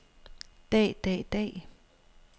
dag dag dag